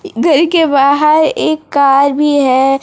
घर के बाहर एक कार भी है।